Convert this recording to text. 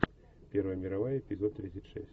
первая мировая эпизод тридцать шесть